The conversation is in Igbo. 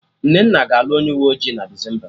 Nnenna ga-alụ onye uwe ọjị na Desemba